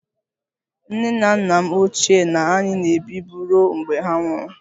Nne na nna m ochie na anyị na-ebibu ruo mgbe ha nwụrụ